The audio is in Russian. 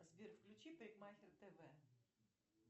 сбер включи парикмахер тв